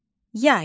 Yay.